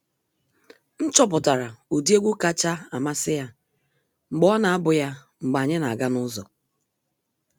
M chọpụtara ụdị egwu kacha amasị ya mgbe ọ na-abu ya mgbe anyị na aga n'ụzọ.